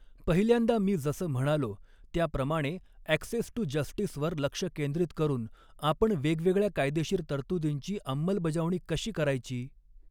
पहिल्यांदा मी जसं म्हणालो त्या प्रमाणेॲक्सेस टू जस्टीसवर लक्ष केंद्रीत करून आपण वेगवेगळ्या कायदेशीर तरतुदींची अंमलबजावणी कशी करायची?